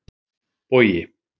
Bogi